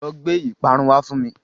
Lọ gbé ìparun wá fún mi.